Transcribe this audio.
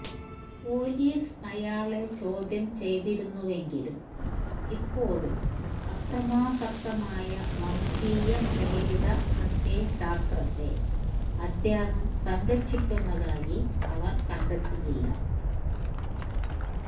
police അയാളെ ചോദ്യം ചെയ്തിരുന്നുവെങ്കിലും ഇപ്പോഴും അക്രമാസക്തമായ വംശീയ പ്രേരിത പ്രത്യയശാസ്ത്രത്തെ അദ്ദേഹം സംരക്ഷിക്കുന്നതായി അവര് കണ്ടെത്തിയില്ല